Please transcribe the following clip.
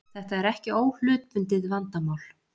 Þetta er ekki óhlutbundið vandamál